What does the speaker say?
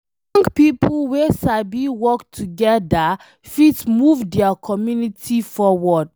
Young pipo wey sabi work togeda fit move dia community forward